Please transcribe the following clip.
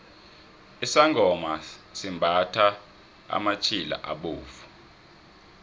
isangoma simbathha amatjhila abovu